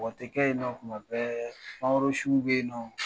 Wa n tɛ kɛ yen nɔ tuma bɛɛ suw bɛ yen nɔ.